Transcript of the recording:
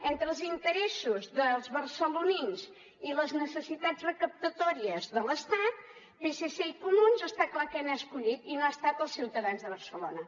entre els interessos dels barcelonins i les necessitats recaptatòries de l’estat psc i comuns està clar què han escollit i no ha estat els ciutadans de barcelona